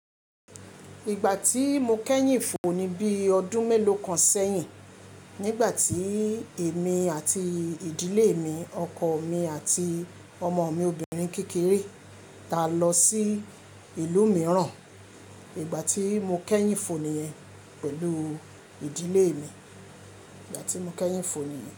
Ìgbà tí mo kẹ́yìn fò ni bí ọdún mélòó kan sẹ́yìn, nígbà tí èmi àti ìdílé mi, ọkọ mi àti ọmọ mi obìnrin kékeré, táa lọ sí ìlú mìíràn. Ìgbà tí mo kẹ́yìn fò nìyẹn pẹ̀lú ìdílé mi. Ìgbà tí mo kẹ́yìn fò nìyẹn.